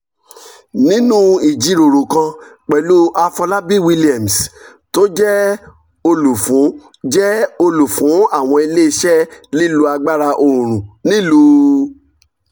nínú ìjíròrò kan pẹ̀lú afolabi williams tó jẹ́ olùfún jẹ́ olùfún àwọn ilé iṣẹ́ lílo agbára oorun nílùú